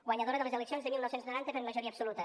guanyadora de les eleccions de dinou noranta per majoria absoluta